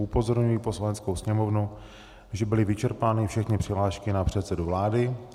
Upozorňuji Poslaneckou sněmovnu, že byly vyčerpány všechny přihlášky na předsedu vlády.